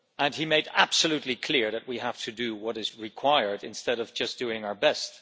He made absolutely clear that we have to do what is required instead of just doing our best.